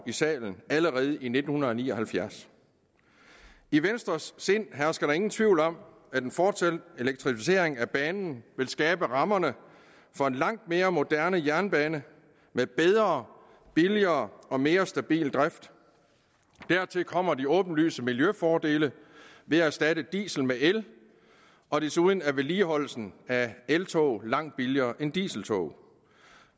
i salen allerede i nitten ni og halvfjerds i venstres sind hersker der ingen tvivl om at en fortsat elektrificering af banen vil skabe rammerne for en langt mere moderne jernbane med bedre billigere og mere stabil drift dertil kommer de åbenlyse miljøfordele ved at erstatte diesel med el og desuden er vedligeholdelsen af eltog langt billigere end af dieseltog